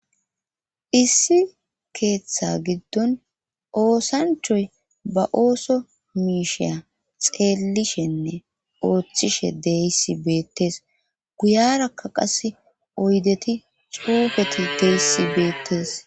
Issi keeththa giddon oosanchoy baooso miishiya xeelishenne ooththishe deyssi beettes guyarakka qas oydeti cuufeti deysi beettes.